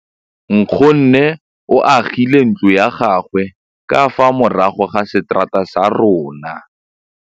Nkgonne o agile ntlo ya gagwe ka fa morago ga seterata sa rona.